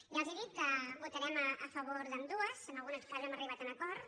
ja els dic que votarem a favor d’ambdues en alguns casos hem arribat a acords